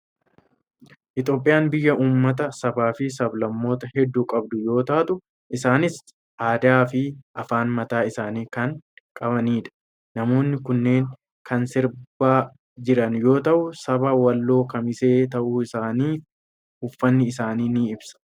Itoophiyaan biyya uummata, sabaa fi sablammoota heedduu qabdu yoo taatu, isaanis aadaa fi afaan mataa isaanii kan qabanidha. Namoonni kunneen kan sirbaa jiran yoo ta'u, saba walloo kamisee ta'uu isaaniii uffanni isaanii ni ibsa.